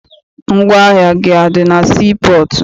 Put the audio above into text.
Ngwaahịa gị adị na sii pọọtụ?